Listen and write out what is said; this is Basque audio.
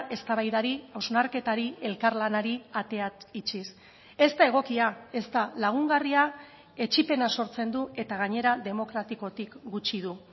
eztabaidari hausnarketari elkarlanari ateak itxiz ez da egokia ez da lagungarria etsipena sortzen du eta gainera demokratikotik gutxi du